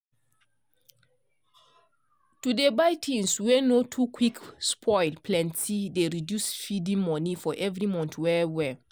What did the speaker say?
to dey buy things wey nor to quick spoilplenty dey reduce feeding money for every month well well.